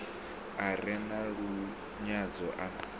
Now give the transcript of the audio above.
a re na lunyadzo a